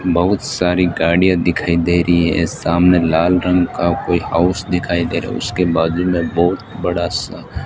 बहुत सारी गाड़ियां दिखाई दे रही है सामने लाल रंग का कोई हाउस दिखाई दे रहा है उसके बाजु में बहुत बड़ा सा --